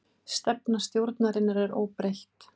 Stefna stjórnarinnar óbreytt